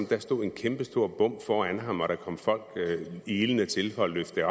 der stod en kæmpestor bom foran ham og at der kom folk ilende til for at løfte